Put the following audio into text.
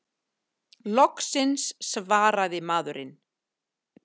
Loksins svarar maðurinn!